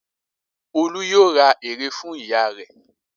Olú yóò ra ère fún ìyá rẹ̀.